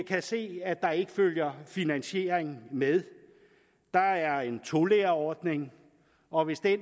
kan se at der ikke følger finansiering med der er en tolærerordning og hvis det